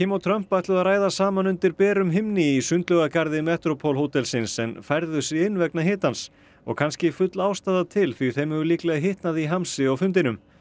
og Trump ætluðu að ræða saman undir berum himni í sundlaugagarði Metropole hótelsins en færðu sig inn vegna hitans og kannski full ástæða til því þeim hefur líklega hitnað í hamsi á fundinum